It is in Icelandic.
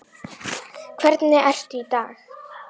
Hvernig ertu í dag?